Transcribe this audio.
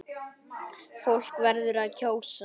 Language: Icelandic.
Fólk verður að kjósa!